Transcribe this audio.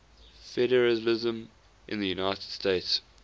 federalism in the united states